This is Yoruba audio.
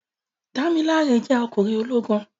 Dámiláre jẹ́ ọkùnrin ológun